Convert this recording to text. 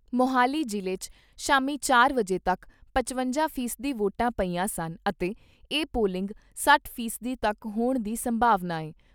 ਮੋਹਾਲੀ ਜ਼ਿਲ੍ਹੇ 'ਚ ਸ਼ਾਮੀ ਚਾਰ ਵਜੇ ਤੱਕ ਪਚਵੰਜਾ ਫ਼ੀ ਸਦੀ ਵੋਟਾਂ ਪਈਆਂ ਸਨ ਅਤੇ ਇਹ ਪੋਲਿੰਗ ਸੱਠ ਫ਼ੀ ਸਦੀ ਤੱਕ ਹੋਣ ਦੀ ਸੰਭਾਵਨਾ ਏ।